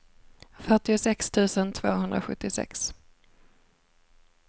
fyrtiosex tusen tvåhundrasjuttiosex